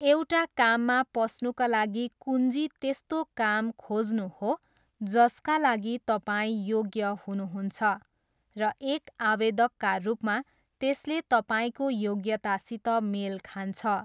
एउटा काममा पस्नुका लागि कुञ्जी त्यस्तो काम खोज्नु हो जसका लागि तपाईँ योग्य हुनुहुन्छ र एक आवेदकका रूपमा त्यसले तपाईँको योग्यतासित मेल खान्छ।